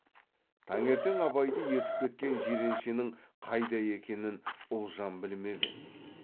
таңертең абайды ертіп кеткен жиреншенің қайда екенін ұлжан білмеп еді